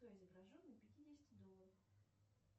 кто изображен на пятидесяти долларах